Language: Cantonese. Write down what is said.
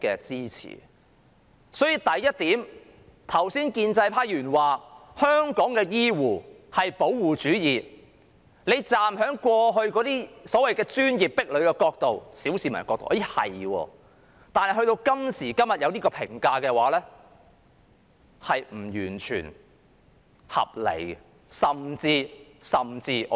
因此，第一點，就建制派議員剛才指香港醫護是"保護主義"，從過去所謂的專業壁壘角度或小市民的角度，這似乎是對的，但今時今日作出這樣的評價，我認為並非完全合理，甚至是錯誤的。